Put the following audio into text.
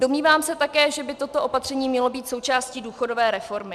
Domnívám se také, že by toto opatření mělo být součástí důchodové reformy.